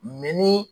ni